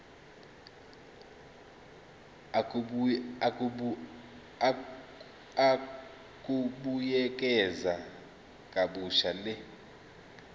ukubuyekeza kabusha le